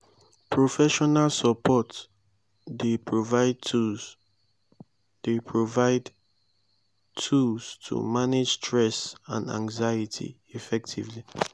professional support dey provide tools dey provide tools to manage stress and anxiety effectively.